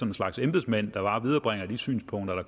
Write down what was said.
en slags embedsmand der bare viderebringer de synspunkter der